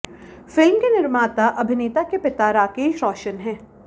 film के निर्माता अभिनेता के पिता राकेश रोशन हैं